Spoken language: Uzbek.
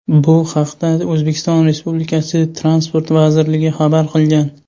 Bu haqda O‘zbekiston Respublikasi Transport vazirligi xabar qilgan .